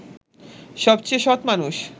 সবচেয়ে সৎ মানুষ